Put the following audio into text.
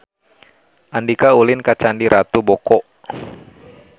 Andika ulin ka Candi Ratu Boko